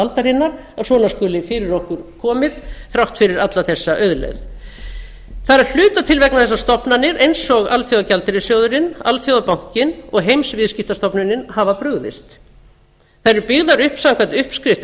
aldarinnar að svona skuli fyrir okkur komið þrátt fyrir alla þessa auðlegð það er að hluta til vegna þess að stofnanir eins og alþjóðagjaldeyrissjóðurinn alþjóðabankinn og heimsviðskiptastofnunin hafa brugðist þær eru byggðar upp samkvæmt uppskrift